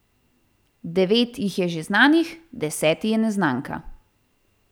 Devet jih je že znanih, deseti je neznanka.